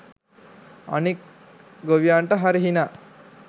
අනික් ගොවියන්ට හරි හිනා